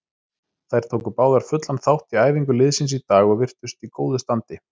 Þær tóku báðar fullan þátt í æfingu liðsins í dag og virtust í góðu standi.